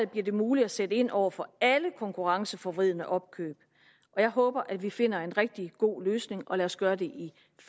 bliver det muligt at sætte ind over for alle konkurrenceforvridende opkøb og jeg håber at vi finder en rigtig god løsning og lad os gøre det